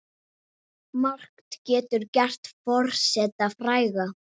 Margt getur gert forseta fræga.